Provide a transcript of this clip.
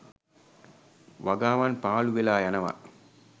වගාවන් පාලු වෙලා යනවා